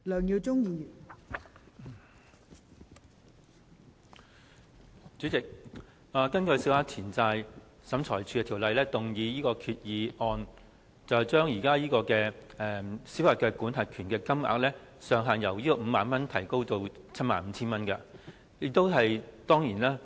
代理主席，政府根據《小額錢債審裁處條例》動議擬議決議案，將現時小額錢債審裁處民事司法管轄權的申索限額，由 50,000 元提高至 75,000 元。